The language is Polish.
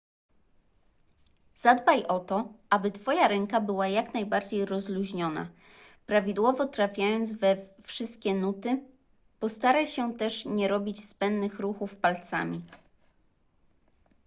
zadbaj o to aby twoja ręka była jak najbardziej rozluźniona prawidłowo trafiając we wszystkie nuty postaraj się też nie robić zbędnych ruchów palcami